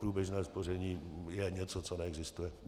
Průběžné spoření je něco, co neexistuje.